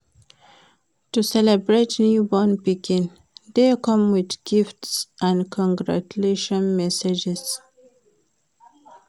To celebrate newborn pikin de come with gifts and congratutlaion messages